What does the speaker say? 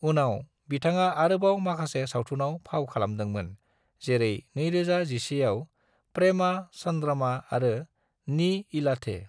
उनाव, बिथाङा आरोबाव माखासे सावथुनआव फाव खालामदोंमोन, जेरै 2011 आव प्रेमा चन्द्रमा आरो नी इलाधे।